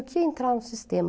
O que é entrar no sistema?